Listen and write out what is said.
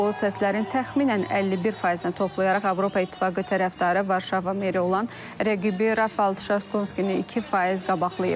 O səslərin təxminən 51 faizini toplayaraq Avropa İttifaqı tərəfdarı, Varşava meri olan rəqibi Rafal Çarskonini 2 faiz qabaqlayıb.